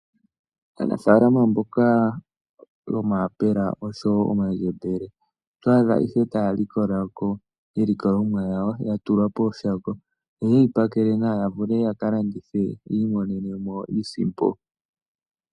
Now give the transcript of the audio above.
Aanafaalama mboka yomayapela noshowo omandjembele oto adha ihe taya likola ko iilikolomwa yawo ya tulwa pooshako, yo ye yi pakela nawa ya vule ya ka landithe yi imonene mo iisimpo.